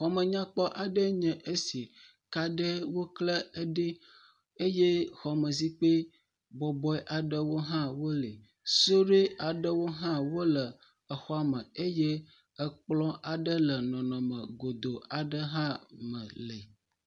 Xɔmenyakpɔ aɖee nye esi. Kaɖe wokle eɖi eye xɔmezikpui bɔbɔe aɖewo hã wo li. Suɖui aɖewo hã wole exɔa me eye ekplɔ aɖe le nɔnɔme godo aɖe me hã li.